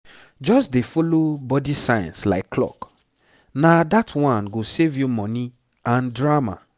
just dey follow body signs like clock na that one go save you money and drama